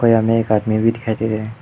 कोई हमे एक आदमी भी दिखाई दे रहा --